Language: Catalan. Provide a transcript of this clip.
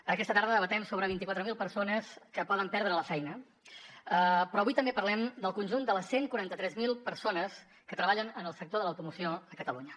en aquesta tarda debatem sobre vint quatre mil persones que poden perdre la feina però avui també parlem del conjunt de les cent i quaranta tres mil persones que treballen en el sector de l’automoció a catalunya